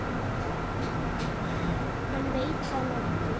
En veit það nokkur?